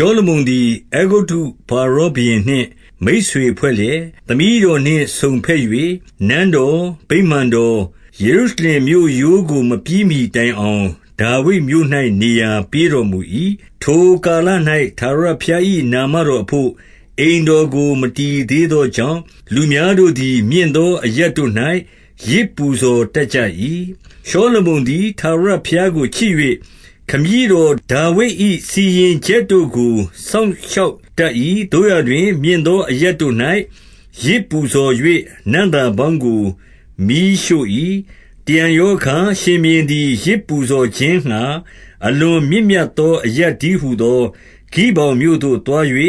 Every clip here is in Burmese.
ှောလမုန်သည် အဲဂုတ္တုဖာရောဘုရင်နှင့် မိတ်ဆွေဖွဲ့လျက်၊ သမီးတော်နှင့်စုံဘက်၍ နန်းတော်၊ ဗိမာန်တော်၊ ယေရုရှလင်မြို့ရိုးကို မပြီးမှီတိုင်အောင် ဒါဝိဒ်မြို့၌ နေရာပေးတော်မူ၏။ 2 ထိုကာလ၌ ထာဝရဘုရား၏ နာမတော်အဘို့ အိမ်တော်ကို မတည်သေးသောကြောင့်၊ လူများတို့သည် မြင့်သောအရပ်တို့၌ ယဇ်ပူဇော်တတ်ကြ၏။ 3 ရှောလမုန်သည် ထာဝရဘုရားကို ချစ်၍ ခမည်းတော်ဒါဝိဒ်၏စီရင်ချက်တို့ကို စောင့်ရှောက် တတ်၏။ သို့ရာတွင် မြင့်သောအရပ်တို့၌ ယဇ်ပူဇော်၍ နံ့သာပေါင်းကို မီးရှို့၏။ 4 တရံရောအခါ၊ ရှင်ဘုရင်သည် ယဇ်ပူဇော်ခြင်း ငှါ အလွန်မြင့်မြတ်သော အရပ်တည်းဟူသော ဂိဗောင် မြို့သို့သွား၍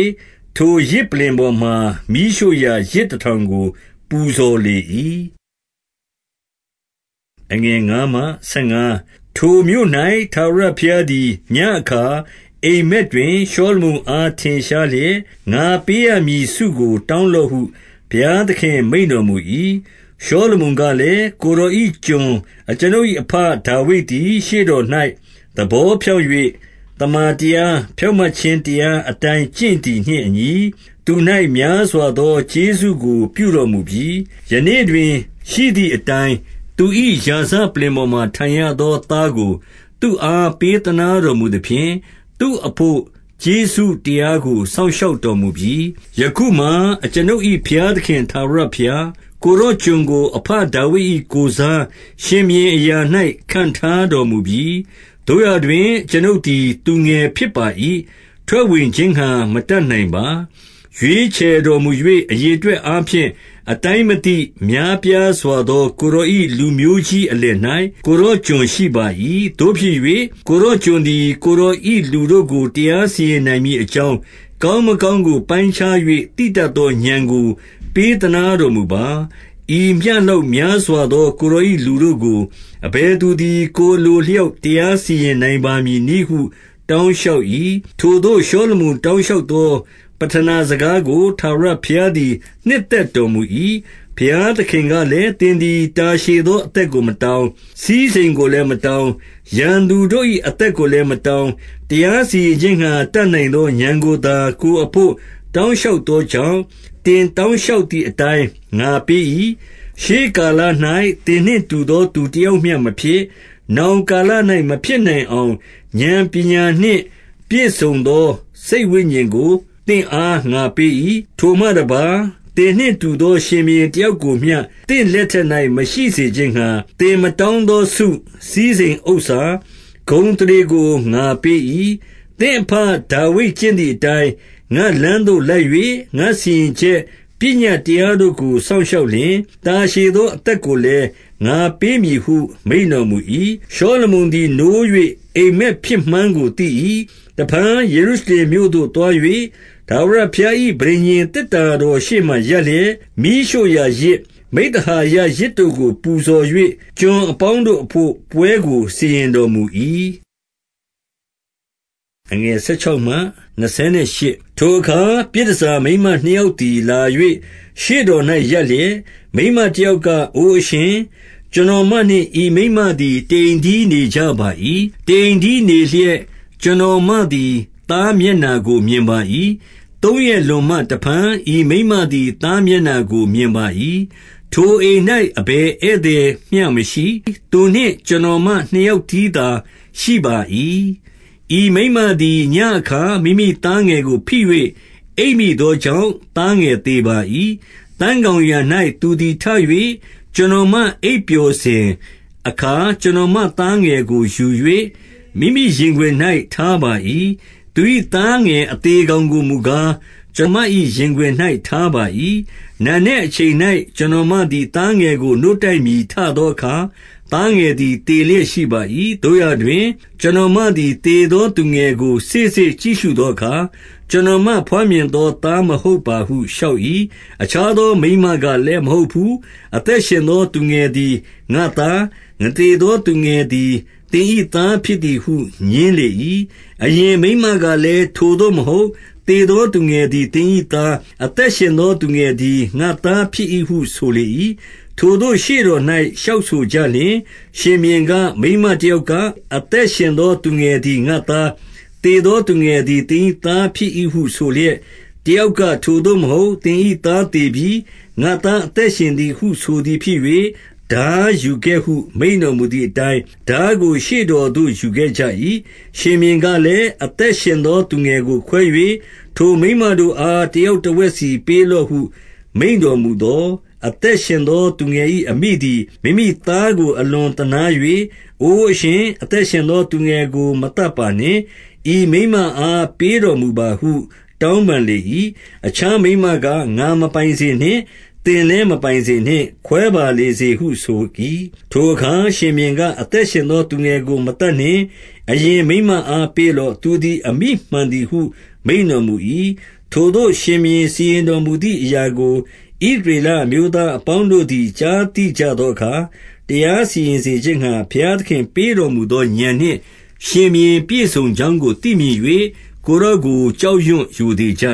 ထိုယဇ်ပလ္လင်ပေါ်မှာ မီးရှို့ရာယဇ်တထောင် ကို ပူဇော်လေ၏။ 5 ထိုမြို့၌ထာဝရဘုရားသည် ညဉ့်အခါ အိပ်မက် တွင် ရှောလမုန်အား ထင်ရှားလျက်၊ ငါပေးရမည်ဆုကို တောင်းလော့ဟု ဘုရားသခင် မိန့်တော်မူ၏။ 6 ရှောလမုန်ကလည်း၊ ကိုယ်တော်၏ ကျွန် အကျွန်ုပ်၏အဘဒါဝိဒ်သည် ရှေ့တော်၌ သဘောဖြောင့် ၍ သမ္မာတရား၊ ဖြောင့်မတ်ခြင်းတရားအတိုင်း ကျင့် သည်နှင့်အညီ၊ သူ၌များစွာသော ကျေးဇူးကို ပြုတော်မူ ပြီ။ ယနေ့တွင်ရှိသည်အတိုင်း၊ သူ၏ရာဇပလ္လင်ပေါ်မှာ ထိုင်ရသော သားကိုသူ့အား ပေးသနားတော်မူသဖြင့်၊ သူ့အဘို့ကျေးဇူးတရားကို စောင့်ရှောက်တော်မူပြီ။ 7 ယခုမှာ အကျွန်ုပ်၏ဘုရားသခင်ထာဝရဘုရား၊ ကိုယ်တော်ကျွန်ကို အဘဒါဝိဒ်၏ကိုယ်စား ရှင်ဘုရင် အရာ၌ ခန့်ထားတော်မူပြီ။ သို့ရာတွင် အကျွန်ုပ်သည် သူငယ်ဖြစ်ပါ၏။ ထွက်ဝင်ခြင်းငှါ မတတ်နိုင်ပါ။ 8 ရွေးချယ်တော်မူ၍ အရေအတွက်အားဖြင့် အတိုင်းမသိ များပြားစွာသော ကိုယ်တော်၏လူမျိုးကြီး အလယ်၌ ကိုယ်တော်ကျွန်ရှိပါ၏။ 9 သို့ဖြစ်၍ ကိုယ်တော်ကျွန်သည် ကိုယ်တော်၏ လူတို့ကို တရားစီရင်နိုင်မည်အကြောင်း ကောင်းမကောင်း ကို ပိုင်းခြား၍ သိတတ်သောဥာဏ်ကို ပေးသနားတော် မူပါ။ ဤမျှလောက်များစွာသော ကိုယ်တော်၏ လူတို့ကို အဘယ်သူသည် ကိုယ်အလိုအလျောက် တရားစီရင်နိုင်ပါ မည်နည်းဟု တောင်းလျှောက်၏။ 10 ထိုသို့ရှောလမုန်တောင်းလျှောက်သော ပဌနာ စကားကို ထာဝရဘုရားသည် နှစ်သက်တော်မူ၏။ 11 ဘုရားသခင်ကလည်း၊ သင်သည်တာရှည်သော အသက်ကို မတောင်း၊ စည်းစိမ်ကိုလည်းမတောင်း၊ ရန်သူ တို့၏အသက်ကိုလည်း မတောင်း၊ တရားစီရင်ခြင်းငှါ တတ်နိုင်သောဥာဏ်ကိုသာ ကိုယ်အဘို့ တောင်းလျှောက် သောကြောင့်၊ 12 သင်တောင်းလျှောက်သည်အတိုင်း ငါပေး၏။ 13 ထိုမှတပါးသင်နှင့်တူသော ရှင်ဘုရင်တယောက် ကိုမျှ သင့်လက်ထက်၌ မရှိစေခြင်းငှါ၊ သင်မတောင်းသော ဆု၊ စည်းစိမ်ဥစ္စာ၊ ဂုဏ်အသရေကို ငါပေး၏။ 14 သင့်အဘဒါဝိဒ်ကျင့်သည်အတိုင်း ငါ့လမ်းသို့ လိုက်၍ ငါစီရင်ချက်ပညတ်တရားတို့ကို စောင့်ရှောက် လျှင်၊ တာရှည်သော အသက်ကိုလည်း ငါပေးမည်ဟု မိန့်တော်မူ၏။ 15 ရှောလမုန်သည် နိုး၍အိပ်မက်ဖြစ်မှန်းကိုသိ၏။ တဖန် ယေရုရှလင်မြို့သို့သွား၍ ထာဝရဘုရား၏ ပဋိညာဉ်သေတ္တာတော်ရှေ့မှာ ရပ်လျက်၊ မီးရှို့ရာယဇ်၊ မိဿဟာယယဇ်တို့ကို ပူဇော်၍ ကျွန်အပေါင်းတို့အဘို့ ပွဲကို စီရင်တော်မူ၏။ 16 ထိုအခါ ပြည်တန်ဆာမိန်းမနှစ်ယောက်သည် လာ၍ ရှေ့တော်၌ ရပ်လျက်၊ 17 မိန်းမတယောက်က အိုအရှင်၊ ကျွန်တော်မနှင့် ဤမိန်းမသည် တအိမ်တည်းနေကြပါ၏။ တအိမ်တည်း နေလျက် ကျွန်တော်မသည် သားမျက်နှာကိုမြင်ပါ၏။ 18 သုံးရက်လွန်မှ တဖန်ဤမိန်းမသည် သား မျက်နှာကိုမြင်ပါ၏။ ထိုအိမ်၌ အဘယ်ဧည့်သည်မျှ မရှိ။ သူနှင့်ကျွန်တော်မနှစ်ယောက်တည်းသာ ရှိပါ၏။ 19 ဤမိန်းမသည် ညဉ့်အခါ မိမိသားငယ်ကိုဖိ၍ အိပ်မိသောကြောင့် သားငယ်သေပါ၏။ 20 သန်းခေါင်ယံ၌ သူသည်ထ၍ ကျွန်တော်မ အိပ် ပျော်စဉ်အခါ ကျွန်တော်မသားငယ်ကိုယူ၍ မိမိရင်ခွင်၌ ထားပါ၏။ သူ၏သားငယ် အသေကောင်ကိုမူကား၊ ကျွန်မ၏ရင်ခွင်၌ ထားပါ၏။ 21 နံနက်အချိန်၌ ကျွန်တော်မသည်သားငယ်ကို နို့တိုက်မည်ထသောအခါ၊ သားငယ်သည် သေလျက် ရှိပါ၏။ သို့ရာတွင် ကျွန်တော်မသည် သေသောသူငယ်ကို စေ့စေ့ကြည့်ရှုသောအခါ၊ ကျွန်တော်မ ဘွားမြင်သော သားမဟုတ်ပါဟုလျှောက်၏။ 22 အခြားသော မိန်းမကလည်း မဟုတ်ဘူး။ အသက်ရှင်သော သူငယ်သည် ငါ့သား၊ သေသောသူငယ် သည် သင်၏သားဖြစ်၏ဟု ငြင်းလေ၏။ အရင်မိန်းမ ကလည်း ထိုသို့မဟုတ်။ သေသောသူငယ်သည် သင်၏သား၊ အသက်ရှင်သောသူငယ်သည် ငါ့သား ဖြစ်၏ဟုဆိုလေ၏။ ထိုသို့ရှေ့တော်၌ လျှောက်ဆိုကြလျှင်၊ 23 ရှင်ဘုရင်က၊ မိန်းမတယောက်က အသက်ရှင် သော သူငယ်သည် ငါ့သား၊ သေသော သူငယ်သည် သင်၏သားဖြစ်၏ဟုဆိုလျက်၊ တယောက်ကထိုသို့မဟုတ်။ သင်၏သားသေပြီ။ ငါ့သားအသက်ရှင်သည်ဟု ဆိုသည် ဖြစ်၍၊ 24 ထားယူခဲ့ဟု မိန့်တော်မူသည်အတိုင်း၊ ထားကို ရှေ့တော်သို့ ယူခဲ့ကြ၏။ 25 ရှင်ဘုရင်ကလည်း၊ အသက်ရှင်သော သူငယ်ကို ခွဲ၍ ထိုမိန်းမတို့အား တယောက်တဝက်စီပေးလော့ဟု မိန့်တော်မူသော်၊ 26 အသက်ရှင်သောသူငယ်၏ အမိသည် မိမိသား ကို အလွန်သနား၍၊ အိုအရှင်၊ အသက်ရှင်သောသူငယ်ကို မသတ်ပါနှင့်။ ဤမိန်းမအား ပေးတော်မူပါဟု တောင်းပန် လေ၏။ အခြားမိန်းမက ငါမပိုင်စေနှင့်။ သင်လည်း မပိုင်စေနှင့်။ ခွဲပါလေစေဟုဆို၏။ 27 ထိုအခါရှင်ဘုရင်က၊ အသက်ရှင်သော သူငယ် ကို မသတ်နှင့်။ အရင်မိန်းမအား ပေးလော့။ သူသည် အမိမှန်သည်ဟု မိန့်တော်မူ၏။ 28 ထိုသို့ရှင်ဘုရင်စီရင်တော်မူသည် အရာကို ဣသရေလအမျိုးသားအပေါင်းတို့သည် ကြားသိကြသော အခါ၊ တရားစီရင်စေခြင်းငှါ ဘုရားသခင်ပေးတော်မူ သော ဥာဏ်နှင့် ရှင်ဘုရင်ပြည့်စုံကြောင်းကို သိမြင်၍၊ ကိုယ်တော်ကို ကြောက်ရွံ့ရိုသေကြ